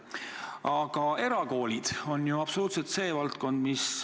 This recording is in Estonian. Aga erakoolid on ju ka seesama valdkond.